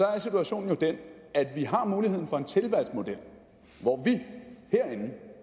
er situationen jo den at vi har muligheden for en tilvalgsmodel hvor vi herinde